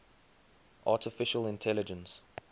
artificial intelligence